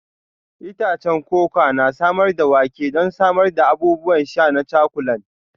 Itacen koko na samar da wake don samar da abubuwan sha na cakulan.